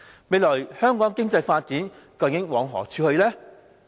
未來香港經濟發展究竟往何處去呢？